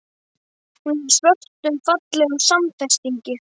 Hún er í svörtum, fallegum samfestingi.